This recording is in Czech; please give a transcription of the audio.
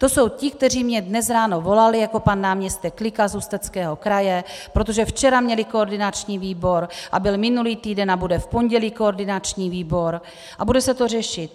To jsou ti, kteří mně dnes ráno volali, jako pan náměstek Klika z Ústeckého kraje, protože včera měli koordinační výbor a byl minulý týden a bude v pondělí koordinační výbor a bude se to řešit.